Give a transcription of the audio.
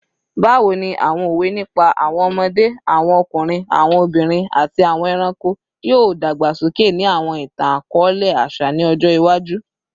Bawo ni awọn owe nipa awọn ọmọde, awọn ọkunrin, awọn obinrin, ati awọn ẹranko yoo dagbasoke ni awọn itan-akọọlẹ aṣa ni ọjọ iwaju?